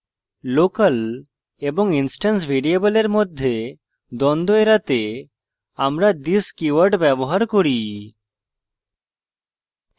local এবং instance ভ্যারিয়েবলের মধ্যে দ্বন্দ্ব এড়াতে আমরা this keyword ব্যবহার করি